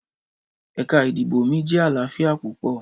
Ẹka idibo mi jẹ alaafia pupọ.